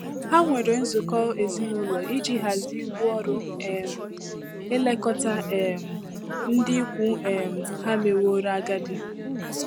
Ha nwere nzukọ ezinụlọ iji hazie ibu ọrụ um ilekọta um ndị ikwu um ha meworo agadi.